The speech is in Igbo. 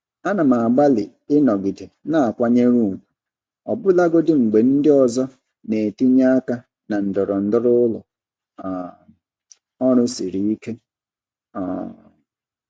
Ana m agbalị ịnọgide na-akwanyere ùgwù ọbụlagodi mgbe ndị ọzọ na-etinye aka na ndọrọndọrọ ụlọ um ọrụ siri ike. um